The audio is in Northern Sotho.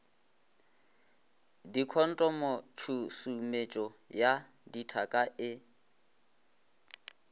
dikhontomo tšhusumetšo ya dithaka e